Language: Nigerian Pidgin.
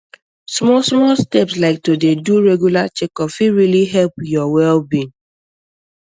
small small steps like to dey do regular checkup fit really help your wellbeing